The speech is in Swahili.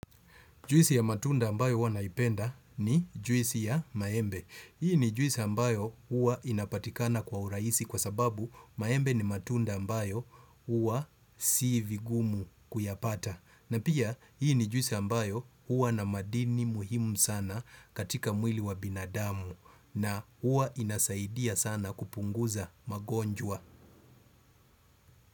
Juisi ya matunda ambayo huwa naipenda, ni juisi ya maembe. Hii ni juisi ambayo huwa inapatikana kwa urahisi kwa sababu maembe ni matunda ambayo huwa si vigumu kuyapata. Na pia, hii ni juisi ambayo huwa na madini muhimu sana katika mwili wa binadamu na huwa inasaidia sana kupunguza magonjwa.